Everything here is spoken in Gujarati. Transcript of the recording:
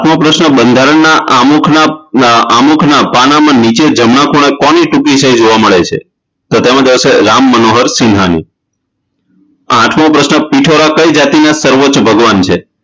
કયો પ્રશ્ન બંધારણના આમુખના આમુખના પાનાંમાં નીચે જમણા ખૂણે કોની ટૂંકીશે ઈ જોવા મળે છે તો તેમા આવશે રામમનોહર સિન્હાની આઠમો પ્રશ્ન પીઠોરા કઈ જાતિના સર્વોચ ભગવાન છે